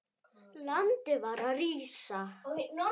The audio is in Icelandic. Landið var að rísa.